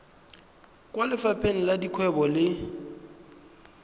kwa lefapheng la dikgwebo le